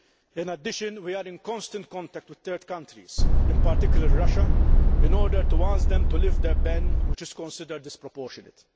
In addition, we are in constant contact with third countries, in particular Russia, to ask them to lift their ban, which is considered disproportionate.